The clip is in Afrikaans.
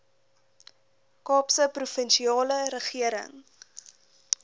kaapse provinsiale regering